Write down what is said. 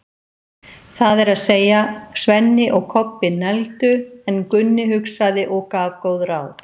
Það er að segja, Svenni og Kobbi negldu, en Gunni hugsaði og gaf góð ráð.